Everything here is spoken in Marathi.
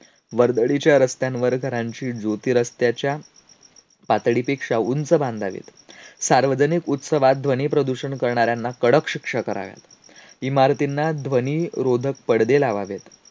वर्दळीच्या रस्त्यांवर घरांची रस्त्याच्या पातळीपेक्षा उंच बांधावेत. सार्वजनिक उत्सवात ध्वनीप्रदूषण करणाऱ्यांना कडक शिक्षा कराव्या. इमारतींना ध्वनिरोधक पडदे लावावेत.